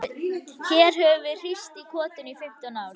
Hér höfum við hírst í kotinu í fimmtán ár.